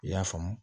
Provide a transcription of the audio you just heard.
I y'a faamu